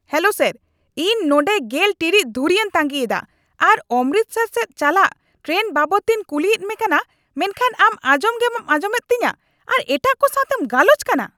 Hello sir ! ᱤᱧ ᱱᱚᱰᱮ ᱑᱐ ᱴᱤᱲᱤᱡ ᱫᱷᱩᱨᱤᱭᱟᱹᱧ ᱛᱟᱸᱜᱤ ᱮᱫᱟ ᱟᱨ ᱚᱢᱨᱤᱥᱴᱟᱨ ᱥᱮᱫ ᱪᱟᱞᱟᱜ ᱴᱨᱮᱱ ᱵᱟᱵᱚᱫ ᱛᱮᱧ ᱠᱩᱞᱤᱭᱮᱫ ᱢᱮ ᱠᱟᱱᱟ ᱢᱮᱱᱠᱷᱟᱱ ᱟᱢ ᱟᱸᱡᱚᱢᱜᱮ ᱵᱟᱢ ᱟᱸᱡᱚᱢᱮᱫ ᱛᱤᱧᱟ ᱟᱨ ᱮᱴᱟᱜ ᱠᱚ ᱥᱟᱣᱛᱮᱢ ᱜᱟᱞᱚᱪ ᱠᱟᱱᱟ ᱾